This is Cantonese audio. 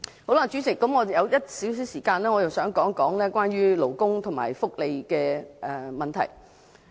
代理主席，還有少許時間，我想談談有關勞工和福利的問題。